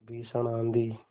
भीषण आँधी